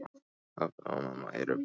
Pabbi og mamma eru bara svona.